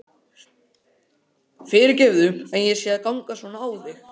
Fyrirgefðu að ég sé að ganga svona á þig.